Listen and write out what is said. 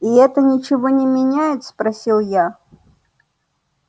и это ничего не меняет спросил я